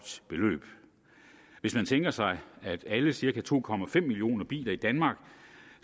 beløb hvis man tænker sig at alle cirka to millioner biler i danmark